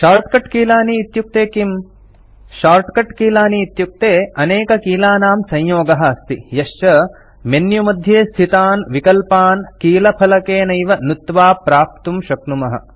shortcut कीलानि इत्युक्ते किम् शॉर्टकट कीलानि इत्युक्ते अनेककीलानां संयोगः अस्ति यश्च मेन्युमध्ये स्थितान् विकल्पान् कीलफलकेनैव नुत्त्वा प्राप्तुं शक्नुमः